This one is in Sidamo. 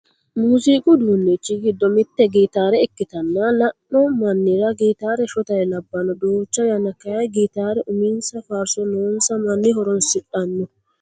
Muuziqu uduunnichi giddo mitte gitaare ikkitanna. La"anno mannira gitaare shotare labbanno. Duucha yanna kayii gitaare uminsa faarso noonsa manni horonsidhanno.